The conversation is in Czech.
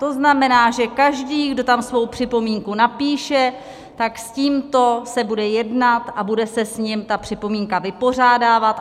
To znamená, že každý, kdo tam svou připomínku napíše, tak s tímto se bude jednat a bude se s ním ta připomínka vypořádávat.